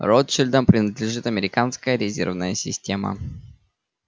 ротшильдам принадлежит американская резервная система